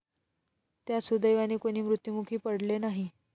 त्यात सुदैवाने कोणी मृत्युमुखी पडले नाही.